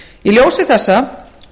í ljósi þessa